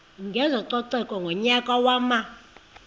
kwezococeko ngonyaka wama